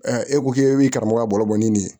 e ko k'e bɛ karamɔgɔ ka balo bɔ ni nin ye